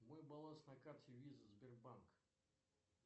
мой баланс на карте виза сбербанк